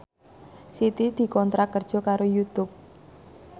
Siti dikontrak kerja karo Youtube